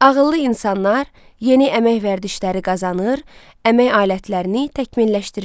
Ağıllı insanlar yeni əmək vərdişləri qazanır, əmək alətlərini təkmilləşdirirdilər.